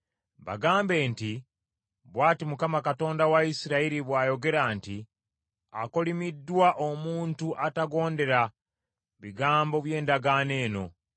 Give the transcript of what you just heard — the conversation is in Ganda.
Bagambe nti, “Bw’ati Mukama Katonda wa Isirayiri bw’ayogera nti, ‘Akolimiddwa omuntu atagondera bigambo by’endagaano eno